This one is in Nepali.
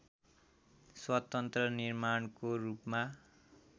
स्वतन्त्र निर्माणको रूपमा